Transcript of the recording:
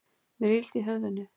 Mér er illt í höfðinu.